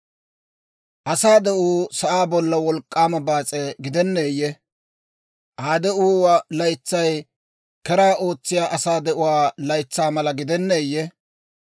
«Asaa de'uu sa'aa bollan wolk'k'aama baas'e gidenneeyye? Aa de'uwaa laytsay keraa ootsiyaa asaa de'uwaa laytsaa mala gidenneeyye?